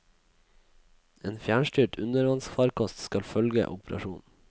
En fjernstyrt undervannsfarkost skal følge operasjonen.